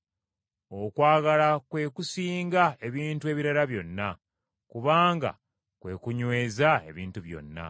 Okwagala kwe kusinga ebintu ebirala byonna, kubanga kwe kunyweza ebintu byonna.